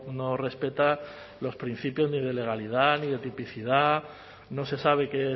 no respeta los principios ni de legalidad ni de tipicidad no se sabe qué